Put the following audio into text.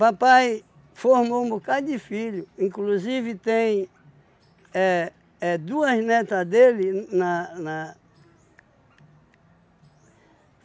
Papai formou um bocado de filhos, inclusive tem éh é duas netas dele na na